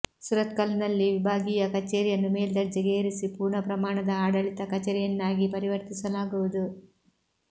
ಸುರತ್ಕಲ್ನಲ್ಲಿ ವಿಭಾಗೀಯ ಕಚೇರಿಯನ್ನು ಮೇಲ್ದರ್ಜೆಗೆ ಏರಿಸಿ ಪೂರ್ಣ ಪ್ರಮಾಣದ ಆಡಳಿತ ಕಚೇರಿಯನ್ನಾಗಿ ಪರಿವರ್ತಿಸಲಾಗುವುದು